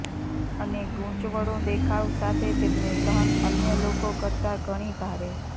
અને ગૂંચવણો દેખાવ સાથે તેમને સહન અન્ય લોકો કરતાં ઘણી ભારે